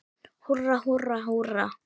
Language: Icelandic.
Húrra, húrra, húrra!